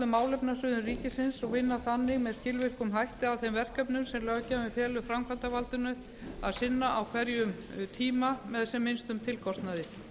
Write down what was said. málefnasviðum ríkisins og vinna þannig með skilvirkum hætti að þeim verkefnum sem löggjafinn felur framkvæmdarvaldinu að sinna á hverjum tíma með sem minnstum tilkostnaði